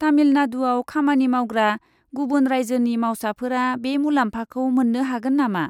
तामिलनाडुआव खामानि मावग्रा गुबुन रायजोनि मावसाफोरा बे मुलाम्फाखौ मोन्नो हागोन नामा?